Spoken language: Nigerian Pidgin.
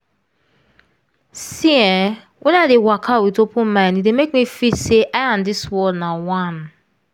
see eh wen i dey waka with open mind e dey make me feel say i and dis world na one.